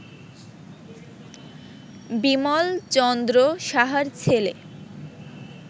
বিমল চন্দ্র সাহার ছেলে